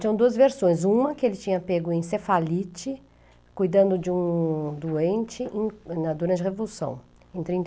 Tinham duas versões, uma que ele tinha pego encefalite, cuidando de um doente durante a Revolução, em trinta e